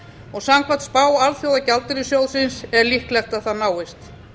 og samkvæmt spá alþjóðagjaldeyrissjóðsins er líklegt að það náist